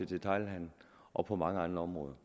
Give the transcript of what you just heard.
detailhandelen og på mange andre områder